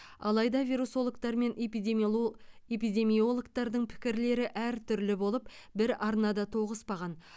алайда вирусологтар мен эпидемиоло эпидемиологтардың пікірлері әртүрлі болып бір арнада тоғыспаған